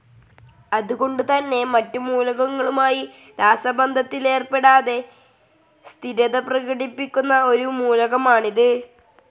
അത് കൊണ്ട് തന്നെ മറ്റു മൂലകങ്ങളുമായി രാസബന്ധത്തിലേർപ്പെടാതെ സ്ഥിരത പ്രകടിപ്പിക്കുന്ന ഒരു മൂലകമാണിത്.